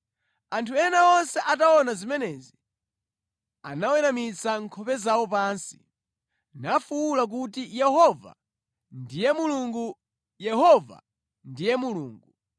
Anthu onse ataona zimenezi, anaweramitsa nkhope zawo pansi, nafuwula kuti, “Yehova ndiye Mulungu! Yehova ndiye Mulungu!”